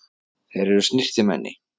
Þeir eru snyrtimenni.